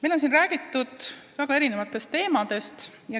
Siin on räägitud väga erinevatel teemadel.